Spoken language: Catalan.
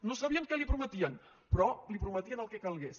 no sabien què li prometien però li prometien el que calgués